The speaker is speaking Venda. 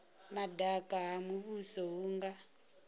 madaka ha muvhuso hu nga